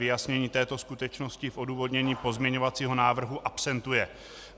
Vyjasnění této skutečnosti v odůvodnění pozměňovacího návrhu absentuje.